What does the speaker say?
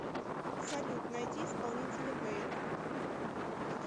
салют найди исполнителя вэйл